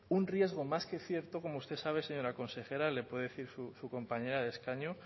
un riesgo más que cierto como usted sabe señora consejera le puedo decir su compañera de escaño